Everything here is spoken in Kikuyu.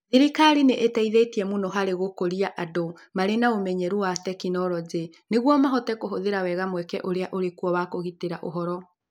Thirikari nĩ ĩteithĩtie mũno harĩ gũkũria andũ marĩ na ũmenyeru wa tekinolonjĩ nĩguo mahote kũhũthĩra wega mweke ũrĩa ũrĩ kuo wa kũgitĩra ũhoro.